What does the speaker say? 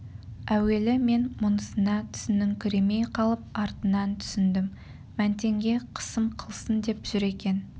әуелі мен мұнысына түсініңкіремей қалып артынан түсіндім мәнтенге қысым қылсын деп жүр екен